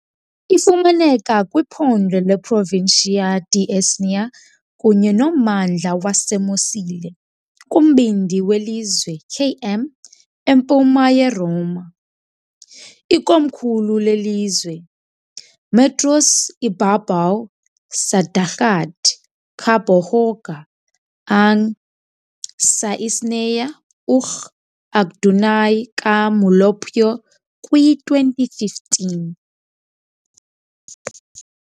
Ifumaneka kwiphondo leProvincia di Isernia kunye nommandla waseMosile, kumbindi welizwe, km empuma yeRoma, ikomkhulu lelizwe. Metros ibabaw sa dagat kabohoga ang nahimutangan sa Isernia, ug adunay ka molupyo, kwi 2015.